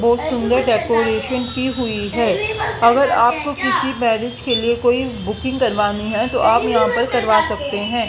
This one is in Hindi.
बहोत सुंदर डेकोरेशन की हुई है अगर आप को किसी मैरिज के लिए कोई बुकिंग करवानी है तो आप यहां पर करवा सकते है।